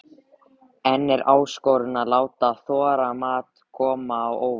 En er áskorun að láta þorramat koma á óvart?